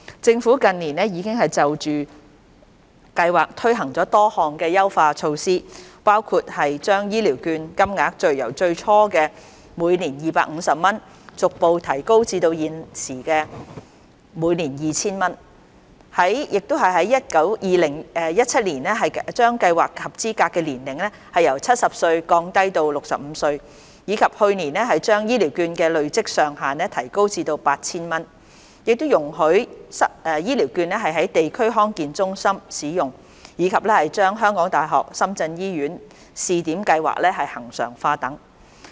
政府近年已就計劃推行了多項優化措施，包括將醫療券金額由最初的每年250元逐步提高至現行的每年 2,000 元、在2017年將計劃的合資格年齡由70歲降低至65歲，以及去年把醫療券的累積上限提高至 8,000 元，亦容許醫療券在地區康健中心使用，以及將香港大學深圳醫院試點計劃恆常化等。